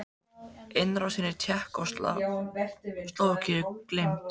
Innrásin í Tékkóslóvakíu gleymd?